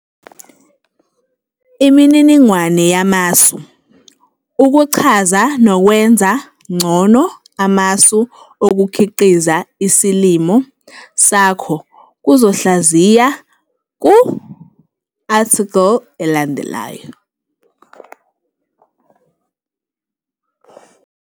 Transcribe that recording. Imininingwane yamasu ukuchaza nokwenza ngcono amasu okukhiqiza isilimo sakho kuzohlaziwa ku-athikhili elandelayo.